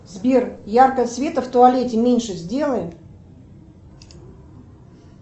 сбер яркость света в туалете меньше сделай